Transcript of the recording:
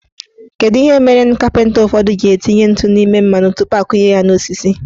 Kedu ihe mere ndị kapịnta ụfọdụ ji etinye ntụ n' ime mmanụ tupu akunye ya n'osisi?